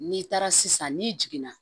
N'i taara sisan n'i jiginna